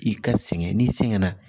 I ka sɛgɛn n'i sɛgɛn na